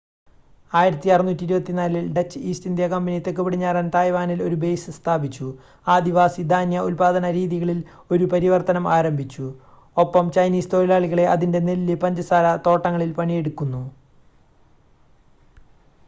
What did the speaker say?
1624 ൽ Dutch east India company തെക്കുപടിഞ്ഞാറൻ തായ്‌വാനിൽ ഒരു ബേസ് സ്ഥാപിച്ചു ആദിവാസി ധാന്യ ഉൽപാദന രീതികളിൽ ഒരു പരിവർത്തനം ആരംഭിച്ചു ഒപ്പം ചൈനീസ് തൊഴിലാളികളെ അതിൻ്റെ നെല്ല് പഞ്ചസാര തോട്ടങ്ങളിൽ പണിയെടുക്കുന്നു